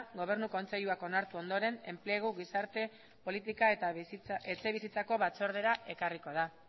gobernu kontseiluak onartu ondoren enplegu gizarte politika eta etxebizitzako batzordera ekarriko da